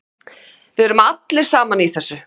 Við erum allir saman í þessu.